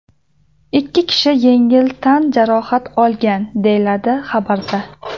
Ikki kishi yengil tan jarohati olgan”, deyiladi xabarda.